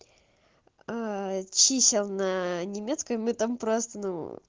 а чисел на немецком мы там просто ну